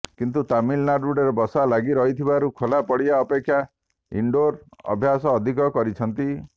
କିନ୍ତୁ ତାମିଲନାଡ଼ୁରେ ବର୍ଷା ଲାଗି ରହୁଥିବାରୁ ଖୋଲା ପଡ଼ିଆ ଅପେକ୍ଷା ଇଣ୍ଡୋର ଅଭ୍ୟାସ ଅଧିକ କରିଛନ୍ତି